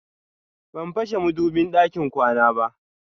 Ban fashe madubin ɗakin kwana ba.